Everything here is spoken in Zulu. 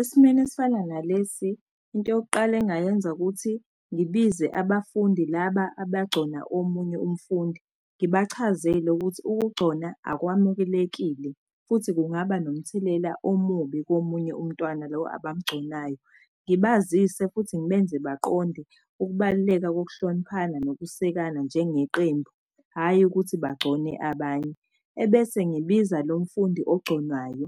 Esimeni esifana nalesi, into yokuqala engayenza kuthi ngibize abafundi laba abagcona omunye umfundi. Ngibachazele ukuthi ukugcona akwamukelekile futhi kungaba nomthelela omubi komunye umntwana lo abamgconayo. Ngibazise futhi ngibenze baqonde ukubaluleka kokuhloniphana nokusekana njenge qembu, hhayi ukuthi bagcone abanye. Ebese ngibiza lo mfundi ogconwayo